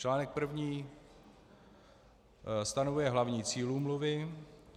Článek první stanovuje hlavní cíl úmluvy.